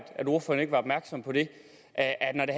at ordføreren ikke var opmærksom på det at at når det